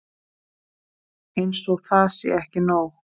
Og eins og það sé ekki nóg.